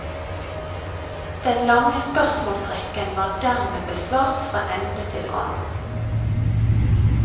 Den lange spørsmålsrekken var dermed besvart fra ende til annen.